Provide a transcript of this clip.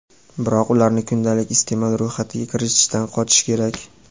biroq ularni kundalik iste’mol ro‘yxatiga kiritishdan qochish kerak.